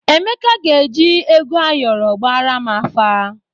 Emeka ga-eji ego ayọrọ gbaara m afa.